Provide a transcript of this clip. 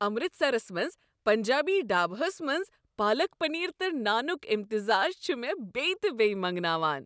امرتسرس منٛز پنجابی ڈھاباہس منٛز پالک پنیر تہٕ نانک امتزاج چھُ مےٚ بییہِ تہ بییہِ منٛگناوان۔